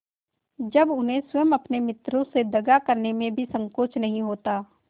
जब उन्हें स्वयं अपने मित्रों से दगा करने में भी संकोच नहीं होता